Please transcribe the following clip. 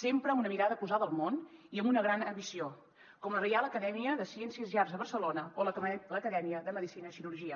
sempre amb una mirada posada al món i amb una gran ambició com la reial acadèmia de ciències i arts de barcelona o l’acadèmia de medicina i cirurgia